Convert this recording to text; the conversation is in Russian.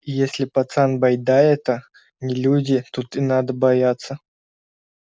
и если пацан байда эта не люди тут и надо бояться